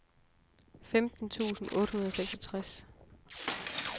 femten tusind otte hundrede og seksogtres